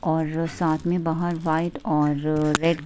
और साथ में बाहर वाइट और रेड --